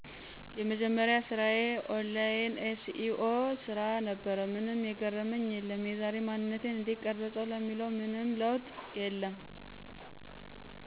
የመጀመርያ ስራዪ ኦንላይን SEO ስራ ነበር። ምንም የገረመኝ የለም። የዛሬ ማንነቴን እንዴት ቀረፀው ለሚለው ምንም ለውጥ የለም።